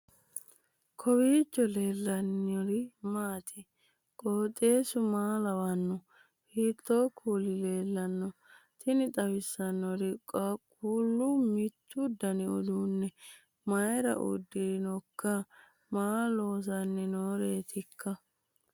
kowiicho leellannori maati ? qooxeessu maa lawaanno ? hiitoo kuuli leellanno ? tini xawissannori qaaqullu mittu dani uduunne mayira uddirinohoikka maa loosanni nooreetikka